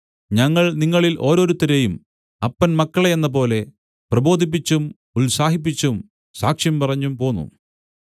ഞങ്ങൾ നിങ്ങളിൽ ഓരോരുത്തരെയും അപ്പൻ മക്കളെ എന്നപോലെ പ്രബോധിപ്പിച്ചും ഉത്സാഹിപ്പിച്ചും സാക്ഷ്യം പറഞ്ഞും പോന്നു